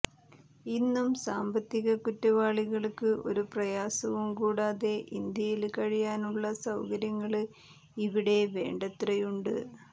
ഇന്നും സാമ്പത്തിക കുറ്റവാളികള്ക്ക്ഒരു പ്രയാസവും കൂടാതെ ഇന്ത്യയില് കഴിയാനുള്ള സൌകര്യങ്ങള് ഇവിടെ വേണ്ടത്രയുണ്ട്